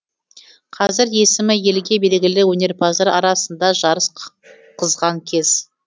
қазір есімі елге белгілі өнерпаздар арасында жарыс қызған кез